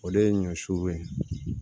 O de ye ɲɔ su ye